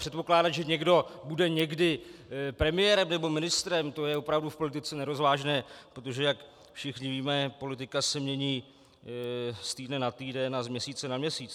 Předpokládat, že někdo bude někdy premiérem nebo ministrem, to je opravdu v politice nerozvážné, protože jak všichni víme, politika se mění z týdne na týden a z měsíce na měsíc.